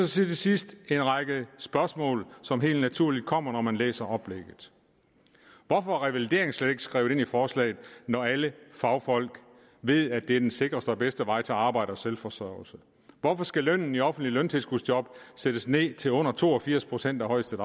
til sidst en række spørgsmål som helt naturligt kommer når man læser oplægget hvorfor er revalidering slet ikke skrevet ind i forslaget når alle fagfolk ved at det er den sikreste og bedste vej til arbejde og selvforsørgelse hvorfor skal lønnen i offentlige løntilskudsjob sættes ned til under to og firs procent af højeste